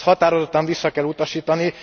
Ezt határozottan vissza kell utasítani.